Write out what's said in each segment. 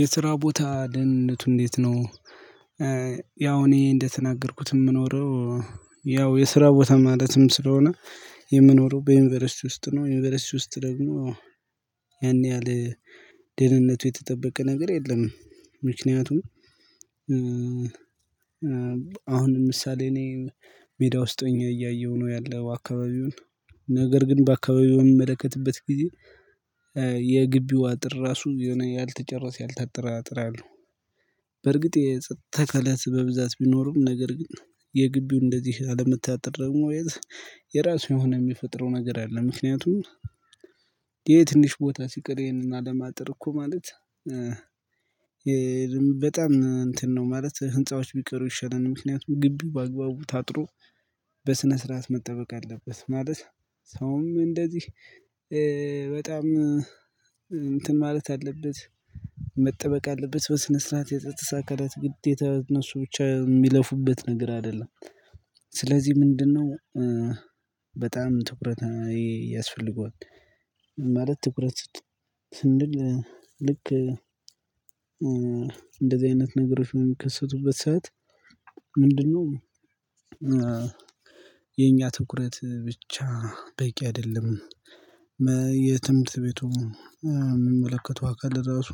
የስራ ቦታ ደህንነቱ እንዴት ነው? ያው እኔ እንደተናገርኩት የምኖረው። ያው የስራ ቦታ ማለትም ስለሆነ የምኖረው በዩኒቨርሲቲ ውስጥ ነው። ዩኒቨርሲቲ ውስጥ ደግሞ ያን ያህል ደህንነቱ የተጠበቀ ነገር የለም። ምክንያቱም አሁን ለምሳሌ እኔ ሜዳ ውስጥ ሆኜ እያየሁ ነው ያለው አካባቢውን። ነገር ግን በአካባቢው በምመለከትበት ጊዜ የግቢው አጥር ራሱ የሆነ ያልተጨረሰ ያልታጠረ አጥር አለው። በርግጥ የጸጥታ አካላት በብዛት ቢኖርም ነገር ግን የግቢው እንደዚህ አለመታጠር ደግሞ የራሱ የሆነ የሚፈጥረው ነገር አለ። ምክንያቱም ይሄ ትንሽ ቦታ ሲቀር ይሄንን አለማጠር እኮ ማለት በጣም እንትን ነው። ማለት ህንፃዎች ቢቀሩ ይሻላል ምክንያቱም ግቢ በአግባቡ ታጥሮ በስነ ስርዓት መጠበቅ አለበት። ማለት ሰውም እንደዚህ በጣም እንትን ማለት አለበት መጠበቅ አለበት በስነ ስርዓት የጸጥታ አካላት ግዴታ እነሱ ብቻ የሚለፉበት ነገር አይደለም። ስለዚህ ምንድነው? በጣም ትኩረት ያስፈልገዋል። ማለት ትኩረት ስንል ልክ እንደዚህ አይነት ነገሮች በሚከሰቱበት ሰዓት ምንድነው? የኛ ትኩረት ብቻ በቂ አይደለም። የትምህርት ቤቱ የምመለከተው አካል ለራሱ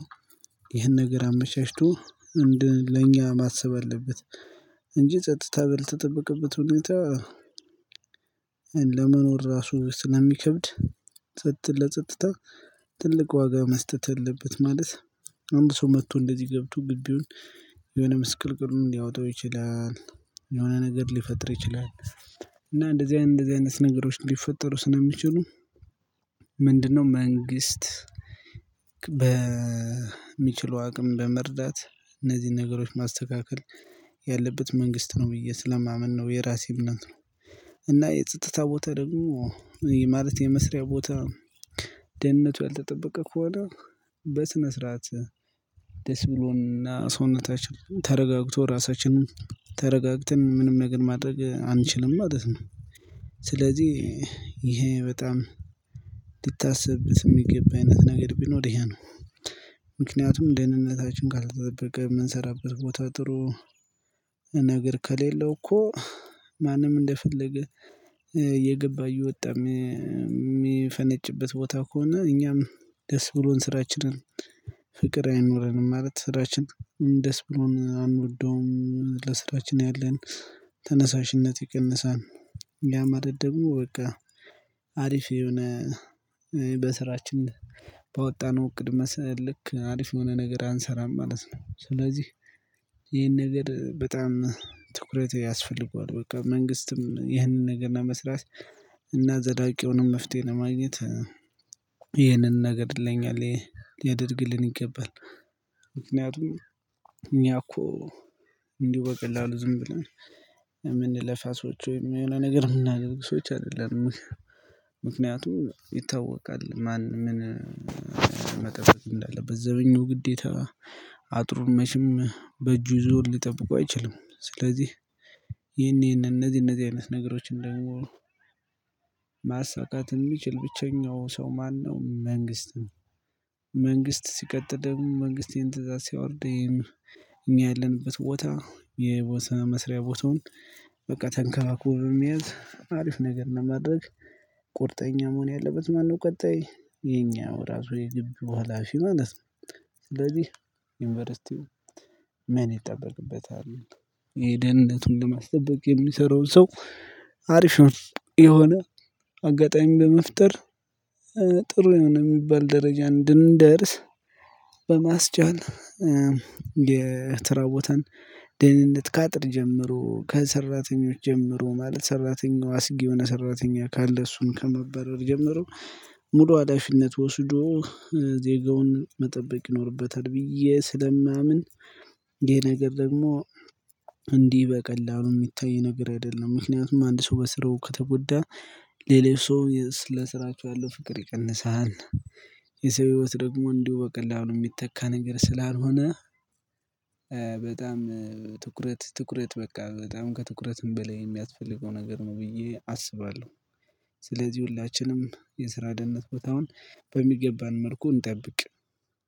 ይህን ነገር አመቻችቶ እንድን ለእኛ ማሰብ አለበት። እንጂ ጸጥታ ባልተጠበቀበት ሁኔታ ለመኖር ራሱ ስለሚከብድ። ጸጥታ ለጸጥታ ትልቅ ዋጋ መስጠት አለበት ማለት። አንድ ሰው መጥቶ እንደዚህ ገብቶ ግቢውን የሆነ ምስቅልቅሉን ሊያወጣው ይችላል። የሆነ ነገር ሊፈጥር ይችላል። እና እንደዚህ አይነት እንደዚህ አይነት ነገሮች ሊፈጠሩ ስለሚችሉ። ምንድነው መንግስት በሚችለው አቅም በመርዳት እነዚህን ነገሮች ማስተካከል ያለበት መንግስት ነው። ብዬ ስለማምን ነው የራሴ እምነት ነው። እና የጸጥታ ቦታ ደግሞ ማለት የመስሪያ ቦታ ደህንነቱ ያልተጠበቀ ከሆነ። በስነ ስርዓት ደስ ብሎን እና ሰውነታችን ተረጋግቶ ራሳችንን ተረጋግተን ምንም ነገር ማድረግ አንችልም ማለት ነው። ስለዚህ ይሄ በጣም ሊታሰብበት የሚገባ አይነት ነገር ቢኖር ይሄ ነው። ምክንያቱም ደህንነታችን ካልተጠበቀ የምንሰራበት ቦታ ጥሩ ነገር ከሌለው እኮ። ማንም እንደፈለገ እየገባ እየወጣ የሚፈነጭበት ቦታ ከሆነ እኛም ደስ ብሎን ስራችንን ፍቅር አይኖረንም ማለት ስራችን ደስ ብሎን አንወደውም ለስራችን ያለን ተነሳሽነት ይቀንሳል። ያ ማለት ደግሞ በቃ አሪፍ የሆነ በስራችን ባወጣነው እቅድ ልክ አሪፍ የሆነ ነገር አንሰራም ማለት ነው። ስለዚህ ይሄን ነገር በጣም ትኩረት ያስፈልገዋል። በቃ መንግስትም ይህንን ነገር ለመስራት እና ዘላቂ የሆነ መፍትሄ ለማግኘት ይህንን ነገር ይለኛል ያደርግልን ይገባል። ምክንያቱም እኛ እኮ እንዲሁ በቀላሉ ዝም ብለን የምንለፋ ሰዎች ወይም የሆነ ነገር የምናደርግ ሰዎች አይደለንም። ምክንያቱም ይታወቃል ማን ምን መጠየቅ እንዳለበት ዘበኛው ግዴታ አጥሩ መቼም በእጁ ይዞ ሊጠብቀው አይችልም። ስለዚህ ይሄን ይሄንን እነዚህ እነዚህ አይነት ነገሮች ደግሞ ማሳካት የሚችል ብቸኛው ሰው ማነው? መንግስት መንግስት ሲቀጥልም መንግስት ይሄን ትእዛዝ ሲያወርድ። እኛ ያለንበት ቦታ የቦታ መስሪያ ቦታውን በቃ ተንከባክቦ በመያዝ አሪፍ ነገር ለማድረግ ቁርጠኛ መሆን ያለበት ማነው? ቀጣይ የኛው ራሱ የግቢው ሃላፊው ማለት ነው። ስለዚህ ዩኒቨርሲቲው ምን ይጠበቅበታል? ይሄ ደህንነቱን ለማስጠበቅ የሚሰራውን ሰው አሪፍ የሆነ አጋጣሚ በመፍጠር ጥሩ የሆነ የሚባል ደረጃ እንድንደርስ። በማስቻል የተራ ቦታን ደህንነት ካጥር ጀምሮ ከሰራተኞች ጀምሮ ማለት ሰራተኛው አስጊ የሆነ ሰራተኛ ካለ እሱን ከማባረር ጀምሮ። ሙሉ አላፊነት ወስዶ ዜጋውን መጠበቅ ይኖርበታል ብዬ ስለማምን። ይሄ ነገር ደግሞ እንዲህ በቀላሉ የሚታይ ነገር አይደለም። ምክንያቱም አንድ ሰው በስርው ከተጎዳ ሌላው ሰው ስለ ስራቸው ያለው ፍቅር ይቀንሳል። የሰው ህይወት ደግሞ እንዲሁ በቀላሉ የሚተካ ነገር ስላልሆነ። በጣም ትኩረት ትኩረት በቃ በጣም ከትኩረትም በላይ የሚያስፈልገው ነገር ነው ብዬ አስባለሁ። ስለዚህ ሁላችንም የስራ ደህንነት ቦታን በሚገባ መልኩ እንጠብቅ።